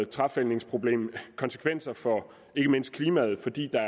træfældningsproblem konsekvenser for ikke mindst klimaet fordi der